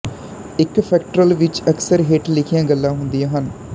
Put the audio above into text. ਇੱਕ ਫ੍ਰੈਕਟਲ ਵਿੱਚ ਅਕਸਰ ਹੇਠ ਲਿਖੀਆਂ ਗੱਲਾਂ ਹੁੰਦੀਆਂ ਹਨ